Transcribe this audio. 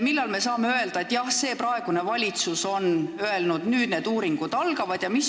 Millal me saame öelda, et jah, praegune valitsus on öelnud, et nüüd need uuringud algavad?